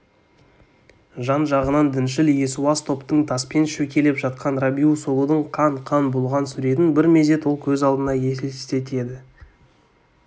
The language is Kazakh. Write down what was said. жан-жағынан діншіл есуас топтың таспен шөкелеп жатқан рабиу сұлудың қан-қан болған суретін бір мезет ол көз алдына елестетеді